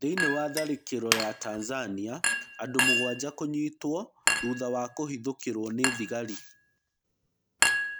Thĩiniĩ wa tharĩkĩro ya Tanzania, andũmũgwanja kũnyitwo thutha wa kũhithukĩrwo nĩ thĩgari.